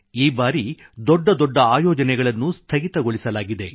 ಈ ಬಾರಿ ದೊಡ್ಡ ದೊಡ್ಡ ಆಯೋಜನೆಗಳನ್ನು ಸ್ಥಗಿತಗೊಳಿಸಲಾಗಿದೆ